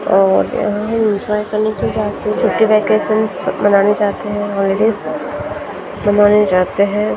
अ अ ओके हम इन्जॉय करने के लिए आते हैं छुट्टी वकेशन मनाने जाते हैं हॉलिडेज मनाने जाते हैं।